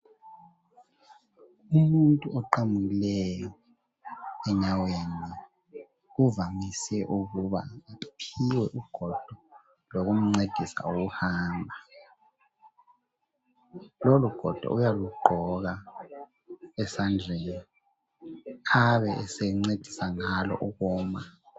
umuntu oqamukileyo enyaweni uvamise ukuba aphiwe ugodo lokumncedisa ukuhamba lolu godo uyalugqoka esandleni abe esencedisa ngalo ukuma